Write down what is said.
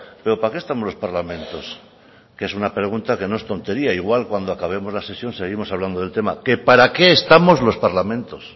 pero para qué estamos los parlamentos que es una pregunta que no es tontería igual cuando acabemos la sesión seguimos hablando del tema que para qué estamos los parlamentos